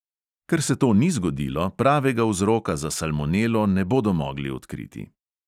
Ker se to ni zgodilo, pravega vzroka za salmonelo ne bodo mogli odkriti.